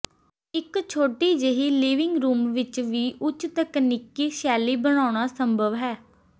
ਇੱਕ ਛੋਟੀ ਜਿਹੀ ਲਿਵਿੰਗ ਰੂਮ ਵਿੱਚ ਵੀ ਉੱਚ ਤਕਨੀਕੀ ਸ਼ੈਲੀ ਬਣਾਉਣਾ ਸੰਭਵ ਹੈ